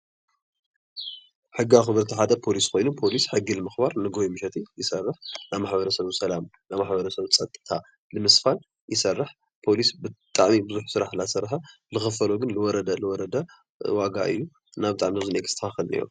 ሕጊ ኣኽበርቲ ሓደ ፖሊስ ኮይኑ ፖሊስ ሕጊ ንኽባር ንጎሆን ምሸትን ይሰርሕ፡፡ ናይ ማሕብረሰቡ ሰላም ናይ ማሕብረሰቡ ፀጥታ ንምስፋን ይሰርሕ፡፡ ፖሊስ ብጣዕሚ ብዙሕ ስራሕ እናሰርሐ ዝኽፈሎ ግን ዝወረደ ዝወረደ እዩ፡፡ እና ብጣዕሚ ክስተኻኸል እኒሀዎ ።